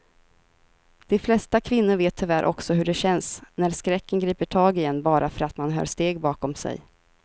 De flesta kvinnor vet tyvärr också hur det känns när skräcken griper tag i en bara för att man hör steg bakom sig.